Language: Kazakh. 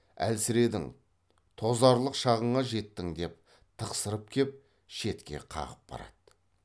әлсіредің тозарлық шағыңа жеттің деп тықсырып кеп шетке қағып барады